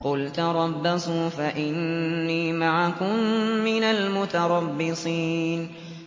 قُلْ تَرَبَّصُوا فَإِنِّي مَعَكُم مِّنَ الْمُتَرَبِّصِينَ